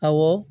Awɔ